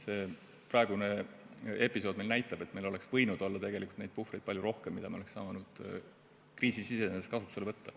Praegune episood näitab, et meil oleks võinud olla palju rohkem neid puhvreid, mida me oleks saanud kriisi sisenedes kasutusele võtta.